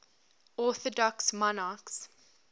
orthodox monarchs